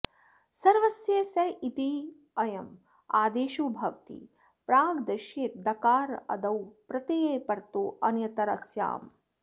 सर्वस्य स इत्ययम् आदेशो भवति प्राग्दिशीये दकारादौ प्रत्यये परतो ऽन्यतरस्याम्